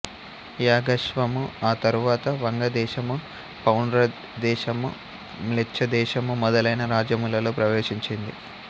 యాగాశ్వము ఆ తరువాత వంగదేశము పౌండ్రదేశము మ్లేచ్చదేశము మొదలైన రాజ్యములలో ప్రవేశించింది